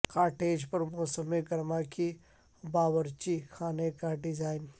cottage پر موسم گرما کی باورچی خانے کا ڈیزائن